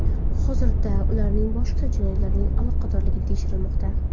Hozirda ularning boshqa jinoyatlarga aloqadorligi tekshirilmoqda.